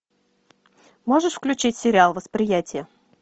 можешь включить сериал восприятие